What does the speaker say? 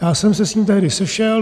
Já jsem se s ním tehdy sešel.